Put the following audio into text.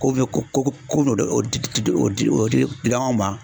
Ko bɛ ko ko ko dɔ de di di di o dila anw ma.